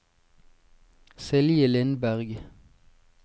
Silje Lindberg